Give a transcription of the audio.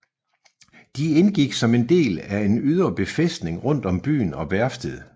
De indgik som en del af en ydre befæstning rundt om byen og værftet